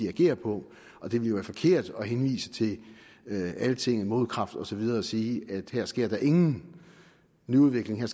at agere på og det ville være forkert at henvise til altinget og modkraft og så videre og sige at her sker der ingen ny udvikling at